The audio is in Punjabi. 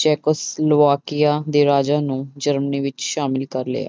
ਚੈਕੋਸਲੋਵਾਕੀਆ ਦੇ ਰਾਜਾ ਨੂੰ ਜਰਮਨੀ ਵਿੱਚ ਸਾਮਿਲ ਕਰ ਲਿਆ